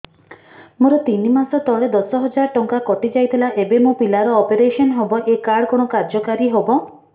ମୋର ତିନି ମାସ ତଳେ ଦଶ ହଜାର ଟଙ୍କା କଟି ଯାଇଥିଲା ଏବେ ମୋ ପିଲା ର ଅପେରସନ ହବ ଏ କାର୍ଡ କଣ କାର୍ଯ୍ୟ କାରି ହବ